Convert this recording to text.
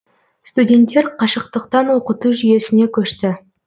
студенттер қашықтықтан оқыту жүйесіне көшті